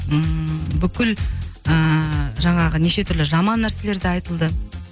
ммм бүкіл ыыы жаңағы неше түрлі жаман нәрселер де айтылды